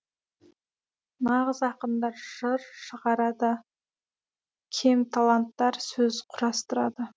нағыз ақындар жыр шығарады кемталанттар сөз құрастырады